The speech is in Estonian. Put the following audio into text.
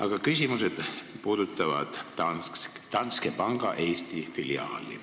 Aga küsimused puudutavad Danske Banki Eesti filiaali.